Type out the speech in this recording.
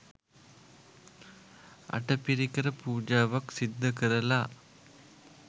අටපිරිකර පූජාවක් සිද්ධ කරලා